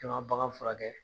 N'i ma bagan furakɛ.